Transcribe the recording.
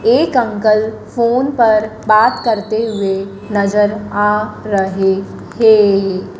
एक uncle phone पर बात करते हुए नज़र आ रहे है।